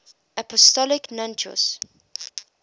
apostolic nuncios